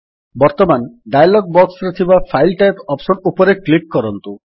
ବର୍ତ୍ତମାନ ଡାୟଲଗ୍ ବକ୍ସରେ ଥିବା ଫାଇଲ୍ ଟାଇପ୍ ଅପ୍ସନ୍ ଉପରେ କ୍ଲିକ୍ କରନ୍ତୁ